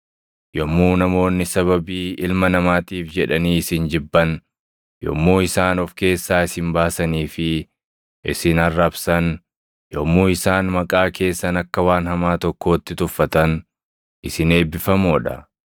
Yommuu namoonni sababii Ilma Namaatiif jedhanii isin jibban, yommuu isaan of keessaa isin baasanii fi isin arrabsan, yommuu isaan maqaa keessan akka waan hamaa tokkootti tuffatan, isin eebbifamoo dha.